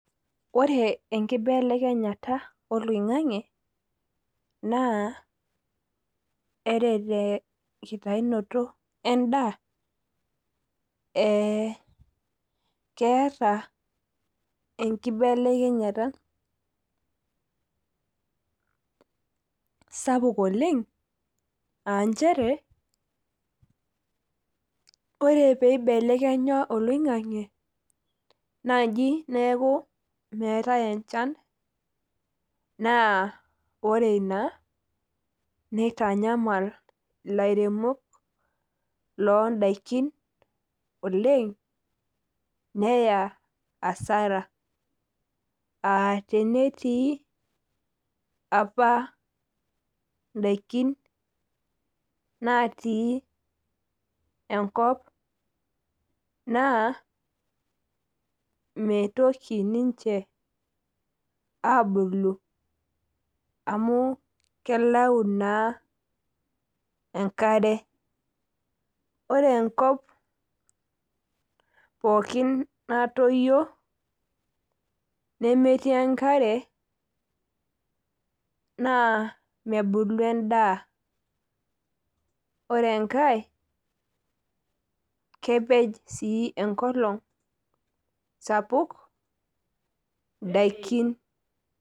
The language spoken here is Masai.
ore enkibelekenyata olaing'ang'e naa eretenkitaunoto edaa keeta enkibelekenyata sapuk oleng' aa ichere ore pee ibelekenya olaing'ang'ae naaji neeku meetae enchan, naa ore ina nitanyamal ilairemok loo idaikin oleng neya asara, aa tenetiii apa idakin naatii enkop naa mitoki niche abulu amu kelau naa enkare, ore enkop pooki natoyio naa mebulu edaa, naa kepej sii enkolong' sapuk idaikin.